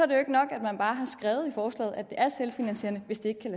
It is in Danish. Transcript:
det ikke nok at man bare har skrevet i forslaget at det er selvfinansierende hvis det